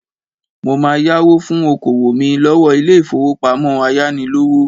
Mo máa yáwó fún okòwò mí lọ́wọ́ ilé-ìfowópamọ́ ayánilówó.